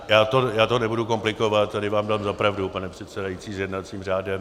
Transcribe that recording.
Já to nebudu komplikovat, tady vám dám za pravdu, pane předsedající, s jednacím řádem.